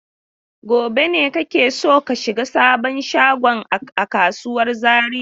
Gobe ne kake so ka shiga sabon shagon a kasuwar Zariya?